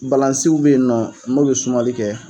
Balansiw bɛ yen nɔ minu bɛ sumali kɛ.